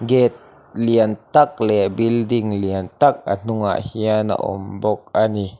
gate lian tak leh building lian tak a hnungah hian a awm bawk ani.